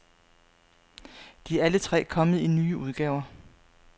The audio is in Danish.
De er alle tre kommet i nye udgaver.